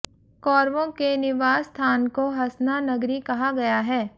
कौरवों के निवास स्थान को हसना नगरी कहा गया है